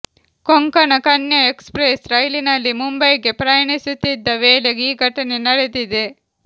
Konkan Kanya Express ರೈಲಿನಲ್ಲಿ ಮುಂಬಯಿಗೆ ಪ್ರಯಾಣಿಸುತ್ತಿದ್ದ ವೇಳೆ ಈ ಘಟನೆ ನಡೆದಿದೆ